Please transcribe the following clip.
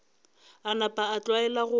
a napa a tlwaela gore